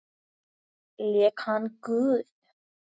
Lék hann guð?